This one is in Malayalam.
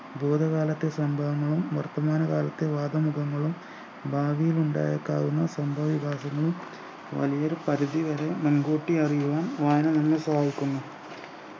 ഭൂതകാലത്തെ സംഭവങ്ങളും വർത്തമാനകാലത്തെ വാദമുഖങ്ങളും ഭാവിലുണ്ടായേക്കാവുന്ന സംഭവ വികാസങ്ങളും വലിയൊരു പരിധി വരെ മുൻകൂട്ടി അറിയുവാൻ വായന നമ്മളെ സഹായിക്കുന്നു